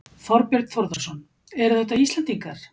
Þorbjörn Þórðarson: Eru þetta Íslendingar?